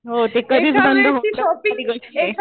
हो. ती कधीच बंद न होऊ शकणारी गोष्ट आहे.